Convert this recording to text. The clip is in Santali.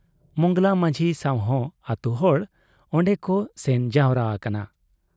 ᱢᱚᱸᱜᱽᱞᱟ ᱢᱟᱹᱡᱷᱤ ᱥᱟᱶᱦᱚᱸ ᱟᱹᱛᱩ ᱦᱚᱲ ᱚᱱᱰᱮ ᱠᱚ ᱥᱮᱱ ᱡᱟᱣᱨᱟ ᱟᱠᱟᱱᱟ ᱾